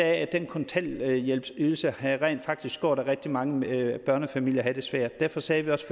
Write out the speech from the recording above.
at den kontanthjælpsydelse rent faktisk havde gjort at rigtig mange børnefamilier havde det svært derfor sagde vi også